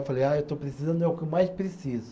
Eu falei, ah eu estou precisando, é o que eu mais preciso.